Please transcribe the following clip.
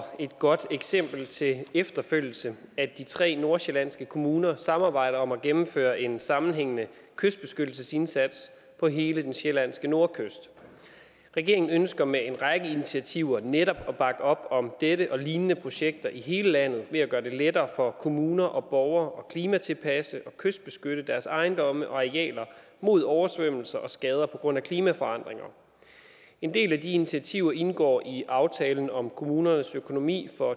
et godt eksempel til efterfølgelse at de tre nordsjællandske kommuner samarbejder om at gennemføre en sammenhængende kystbeskyttelsesindsats på hele den sjællandske nordkyst regeringen ønsker med en række initiativer netop at bakke op om dette og lignende projekter i hele landet ved at gøre det lettere for kommuner og borgere at klimatilpasse og kystbeskytte deres ejendomme og arealer mod oversvømmelser og skader på grund af klimaforandringer en del af de initiativer indgår i aftalen om kommunernes økonomi for